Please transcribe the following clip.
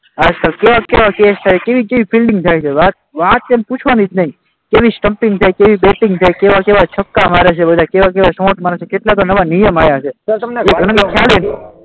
કેવા કેવા કેસ થાય, કેવી કેવી ફિલ્ડિંગ થાય છે, વાત એમ પૂછવાની જ નહીં, કેવી સ્ટંપિંગ થાય, કેવી બેટિંગ થાય, કેવા કેવા છક્કા મારે છે બધા, કેવા કેવા શોર્ટ્સ મારે છે, કેટલાય તો નવા નિયમ આવ્યા છે,